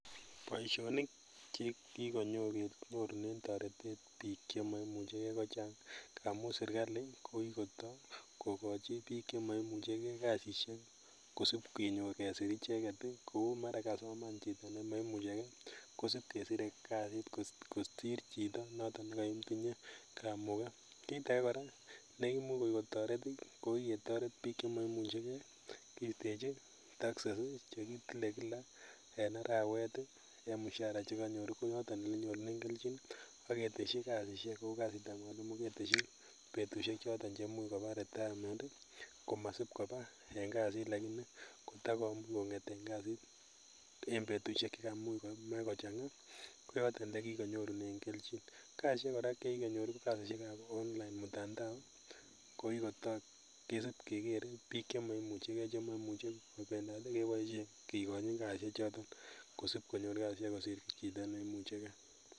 Boisionik chekikonyorunen toretet biik chemoimuche gee kochang ngamun serikali ko kikotoo kokochi biik kasisiek chemoimuche kee kosip kenyor kesir icheket ii, kou mara kasoman chito nemoimuche kee kosip kesire kasit kosir chito noton nekoitinye kamuket kit age kora neimuch kotoret nekikotoret biik chemoimuche gee kistechi taxes che kitile kila en arawet en mushara chekonyor ii koyoton ele nyorunen kelchin aketeshi kasisiek kou kasitab mwalimu keteshi betusiek choton cheimuch kobaa retirement komasip kobaa en kasit lakini kotokobur kong'et en kasit en betusiek chemuch komach kochang'aa koyoton ele kikonyorunen kelchin kasisiek kora chekinyor ko kasisiekab online mutandao kesip keker biik chemoimuche kobendat keboisien kikochi kasisiechoton kosip konyor kasisiek kosir chito neimuche gee.